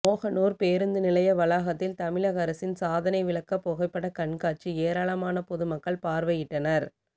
மோகனூர் பேருந்து நிலைய வளாகத்தில் தமிழக அரசின் சாதனை விளக்க புகைப்படக்கண்காட்சி ஏராளமான பொதுமக்கள் பார்வையிட்டனர்